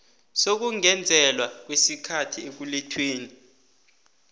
sokungezelelwa kwesikhathi ekulethweni